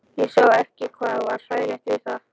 Ég sá ekki hvað var hlægilegt við það.